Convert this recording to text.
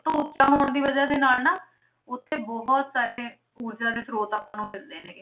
ਤੋਂ ਉੱਚਾ ਹੋਣ ਦੀ ਵਜ੍ਹਾ ਦੇ ਨਾਲ ਨਾ ਉੱਥੇ ਬਹੁਤ ਸਾਰੇ ਊਰਜਾ ਦੇ ਸਰੋਤ ਆਪਾਂ ਨੂੰ ਮਿਲਦੇ ਨੇ ਗੇ।